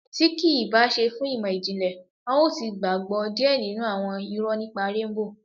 Tí kìí bá ṣe fún ìmọ̀-jinlẹ, a yóò ti gbàgbọ́ díẹ̀ nínú àwọn irọ nípa Réńbò